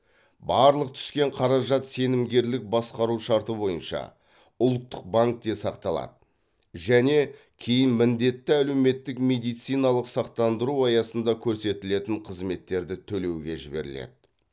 барлық түскен қаражат сенімгерлік басқару шарты бойынша ұлттық банкте сақталады және кейін міндетті әлеуметтік медициналық сақтандыру аясында көрсетілетін қызметтерді төлеуге жіберіледі